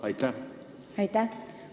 Aitäh!